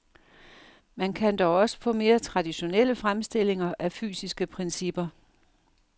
Man kan dog også få mere traditionelle fremstillinger af fysiske principper.